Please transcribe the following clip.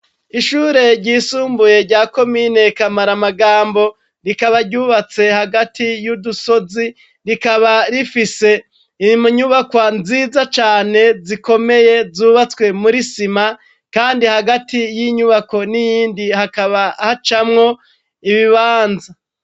Ishure ryisumbuye rya komine kamaramagambo, rikaba ryubatse hagati yudusozi, rikaba rifise inyubakwa nziza cane zikomeye zubatswe muri sima kandi hagati yinyubako niyindi hakaba hacamwo ibibanza.